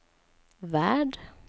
värld